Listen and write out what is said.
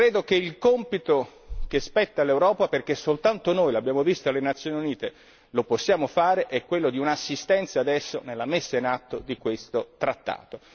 Credo che il compito che spetta all'Europa, perché soltanto noi l'abbiamo visto alle Nazioni Unite lo possiamo fare, è quello di un'assistenza adesso nella messa in atto di questo trattato.